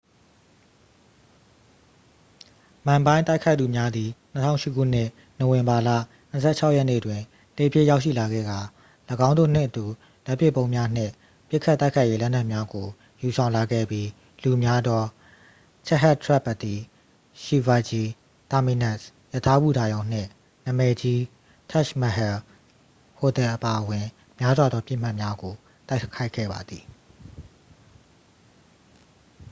မန်ဘိုင်း တိုက်ခိုက်သူများသည် 2008 ခုနှစ် နိုဝင်ဘာလ 26 ရက်နေ့တွင် လှေဖြင့် ရောက်ရှိလာခဲ့ကာ ၎င်းတို့နှင့်အတူ လက်ပစ်ဗုံးများနှင့် ပစ်ခတ်တိုက်ခိုက်ရေးလက်နက်များကို ယူဆောင်လာခဲ့ပြီး လူများသော chhatrapati shivaji terminus ရထားဘူတာရုံနှင့် နာမည်ကြီး taj mahal ဟိုတယ်အပါအဝင် များစွာသောပစ်မှတ်များကို တိုက်ခိုက်ခဲ့ပါသည်